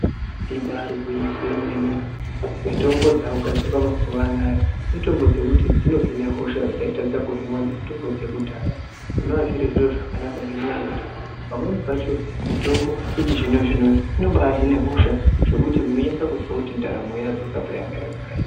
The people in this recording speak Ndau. Ibaari gwinyiso remene kuti mitombo dzakugadzirwa mazuwa anaya mitombo dzekuti dzinohine hosha dzaitadza kuhinwa ngemitombo dzekudhara zvinoa zviri zviro zvakanaka ngendaa yekuti pamweni pacho mitombo yechizvinozvino inobaahine hosha zvekuti unonase kuzwe kuti ndaramo yadzoka payanga yagara iri.